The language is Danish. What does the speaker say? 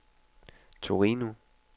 Torino